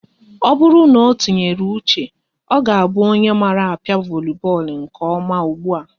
Ọ bụrụ na o tinyere uche, ọ ga-abụ onye mara a pịa voli bọọlụ nke ọma ụgbụa